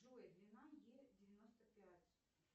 джой длина е девяносто пять